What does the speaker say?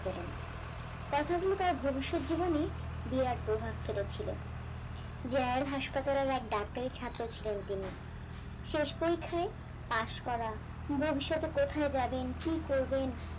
ভবিষৎ জীবনে যার হাসপাতালের ডাক্তারের ছাত্র ছিলেন তিনি শেষ সংখ্যাই পাশ করা ভবিষ্যতে কোথায় যাবেন কি করবেন